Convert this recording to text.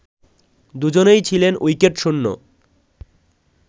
দুজনই ছিলেন উইকেটশূন্য